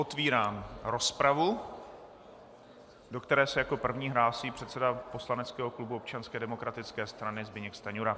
Otevírám rozpravu, do které se jako první hlásí předseda poslaneckého klubu Občanské demokratické strany Zbyněk Stanjura.